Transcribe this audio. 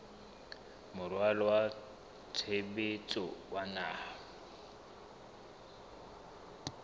moralo wa tshebetso wa naha